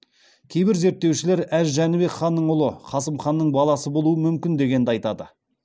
кейбір зерттеушілер әз жәнібек ханның ұлы қасым ханның баласы болуы мүмкін дегенді айтады